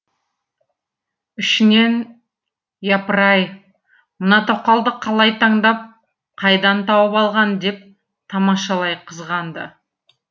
ішінен япыр ай мына тоқалды қалай таңдап қайдан тауып алған деп тамашалай қызғанды